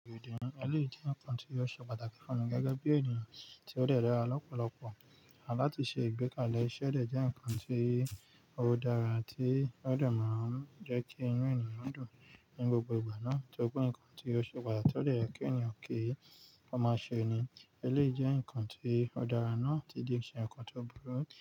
Èdè èlé jẹ́ nǹkan tí ó ṣe pàtàkì fún mi gẹ́gẹ́ bí ènìyàn tí ó dẹ̀dẹ̀ ra lọ́pọ̀lọpọ̀ àti láti ṣe ìgbékalẹ̀ iṣẹ́ dẹ̀ jẹ́ ǹkan tí ó dára tí ó dẹ̀ máa ń jẹ́ kí inú ènìyàn dùn ní gbogbo ìgbà náà. Tí ó kú ǹkan tí ó ṣe pàtàkì tó dẹ̀ yẹ kí ènìyàn kí ó máa ṣe ni. Elé jẹ́ ǹkan tí ó dára náà tí di ǹkan tó burú.